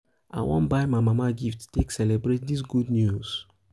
i wan buy my mama gift take gift take celebrate dis good news.